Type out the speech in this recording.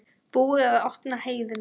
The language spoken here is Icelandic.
Búið að opna heiðina